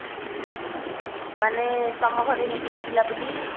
ମାନେ ତମ ଘରେ ନିକିତା ଥିଲା ବୋଲି?